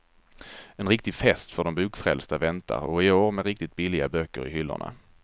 En riktig fest för de bokfrälsta väntar och i år med riktigt billiga böcker i hyllorna.